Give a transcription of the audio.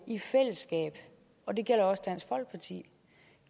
i fællesskab og det gælder også dansk folkeparti